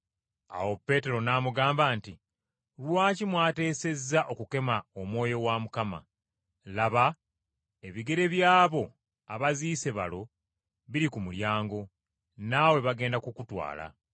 Awo Peetero n’amugamba nti, “Lwaki mwateesezza okukema Omwoyo wa Mukama? Laba, ebigere by’abo abaziise balo biri ku mulyango naawe bagenda kukutwala.”